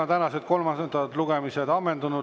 Tänased kolmandad lugemised on ammendunud.